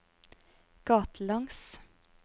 gatelangs